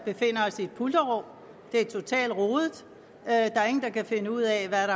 pulterrum det er totalt rodet og kan finde ud af hvad